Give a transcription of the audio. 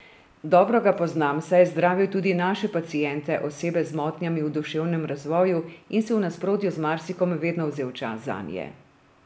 Dobro ga poznam, saj je zdravil tudi naše paciente, osebe z motnjami v duševnem razvoju, in si v nasprotju z marsikom vedno vzel čas zanje.